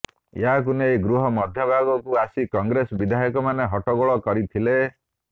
ଏହାକୁ ନେଇ ଗୃହ ମଧ୍ୟଭାଗକୁ ଆସି କଂଗ୍ରେସ ବିଧାୟକମାନେ ହଟ୍ଟଗୋଳ କରିଥିଲେ